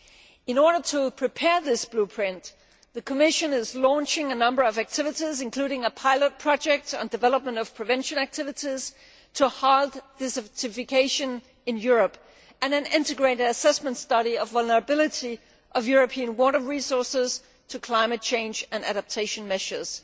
In order to prepare this blueprint, the Commission is launching a number of activities, including a pilot project on the development of prevention activities to halt desertification in Europe and an integrated assessment study of the vulnerability of European water resources to climate change and adaptation measures.